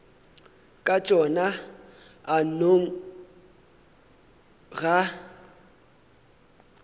ka tšona a nno ga